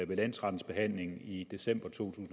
ved landsrettens behandling i december to